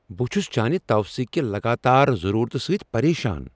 بہٕ چُھس چانِہ توثیق کہ لگاتار ضرورتِہ سۭتۍ پریشان ۔